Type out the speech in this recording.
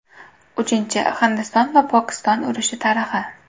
Uchinchi Hindiston va Pokiston urushi tarixi.